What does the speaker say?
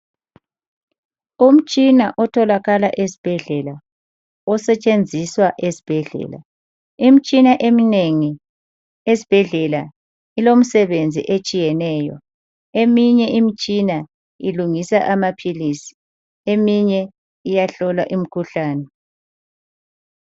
Umtshina otholakala esibhedlela osetshenziswa esibhedlela. Imitshina eminengi esibhedlela ilomsebenzi otshiyeneyo. Eminye imitshina ilungisa amaphilisi, eminye iyahlola imikhuhlane.